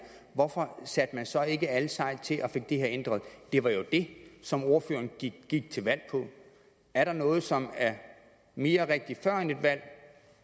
hvorfor satte man så ikke alle sejl til og fik det her ændret det var jo det som ordføreren gik gik til valg på er der noget som er mere rigtigt før et valg